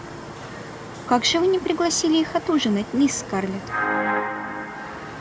как же вы не пригласили их отужинать мисс скарлетт